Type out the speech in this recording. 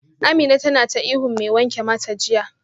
Amina tana ta ihun mai wanke mata jiya